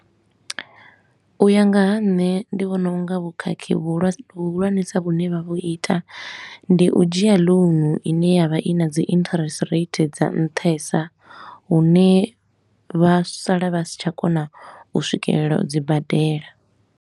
U ya nga ha nṋe ndi vhona u nga vhukhakhi vhuhulwane vhuhulwanesa vhune vha vhu ita ndi u dzhia loan i ne ya vha i na dzi interest rate dza nṱhesa, hune vhasala vha si tsha kona u swikelela u dzi badela.